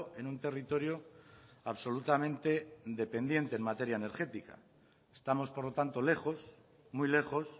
en un territorio absolutamente dependiente en materia energética estamos por lo tanto lejos muy lejos